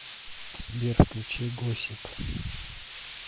сбер включи госсип